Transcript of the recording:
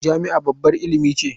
Jami'a babbar ilimi ce.